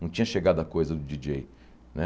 Não tinha chegado a coisa do Di dJei né.